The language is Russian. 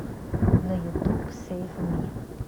на ютуб сэйв ми